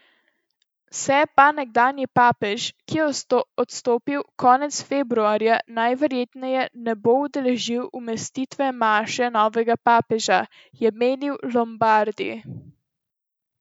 Se pa nekdanji papež, ki je odstopil konec februarja, najverjetneje ne bo udeležil umestitvene maše novega papeža, je menil Lombardi.